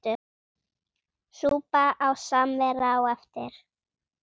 Súpa og samvera á eftir.